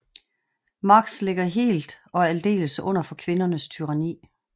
Max ligger helt og aldeles under for kvindernes tyranni